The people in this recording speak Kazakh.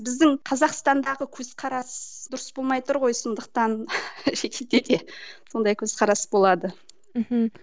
біздің қазақстандағы көзқарас дұрыс болмай тұр ғой сондықтан шетелде де сондай көзқарас болады мхм